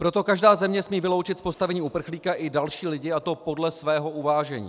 Proto každá země smí vyloučit z postavení uprchlíka i další lidi, a to podle svého uvážení.